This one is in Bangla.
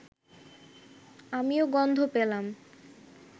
আমিও গন্ধ পেলাম